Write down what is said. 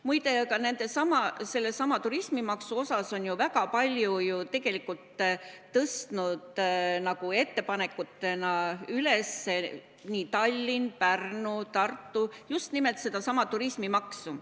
Muide, ettepanekutena on ju Tallinn, Pärnu ja Tartu väga palju tõstnud üles just nimelt sedasama turismimaksu.